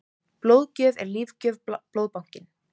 Blóðgjöf er lífgjöf- Blóðbankinn.